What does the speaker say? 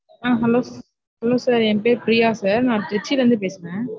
ஆஹ் hello sir என் பெயர் Priya sir நான் திருச்சியில் இருந்து பேசுறேன்